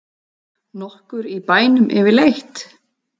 Nokkur í bænum yfirleitt?